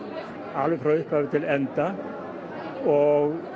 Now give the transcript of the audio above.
alveg frá upphafi til enda og